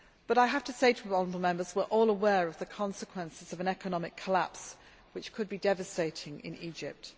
I have to say to honourable Members that we are all aware of the consequences of an economic collapse, which could be devastating in Egypt.